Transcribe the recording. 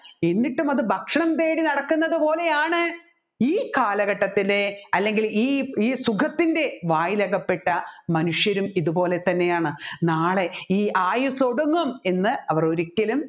എന്നിട്ടും അത് ഭക്ഷണം തേടി നടക്കുന്നത് പോലെയാണ് ഈ കാലഘട്ടത്തിലെ അല്ലെങ്കിൽ ഈ സുഖത്തിൻെറ വായിൽ അകപ്പെട്ട മനുഷ്യരും ഇത്പോലെ തന്നെയാണ് നാളെ ഈ ആയുസ്സ് ഒടുങ്ങും എന്ന് അവർ ഒരിക്കലും